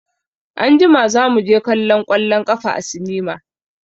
Anjima za mu je kallon ƙwallon ƙafa a sinima.